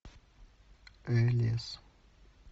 элес